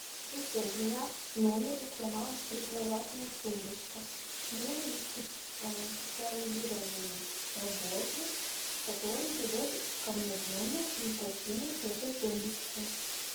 ассистент у меня в номере сломалась прикроватная тумбочка мне нужен специализированный работник который придет ко мне в номер и починит эту тумбочку